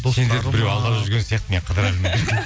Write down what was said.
біреу алдап жүрген сияқты мен қылдырәлімін деп